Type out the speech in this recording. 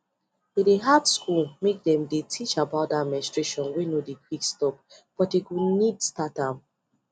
e dey hard school make them they teach about that menstruation wey no dey quick stopbut dey go need start am